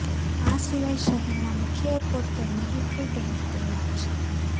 આ સિવાય શહેરનાં મુખ્ય એરપોર્ટ પર મિલિટ્રી ટેન્ક તૈનાત છે